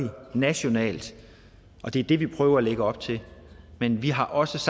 nationalt og det er det vi prøver at lægge op til men vi har også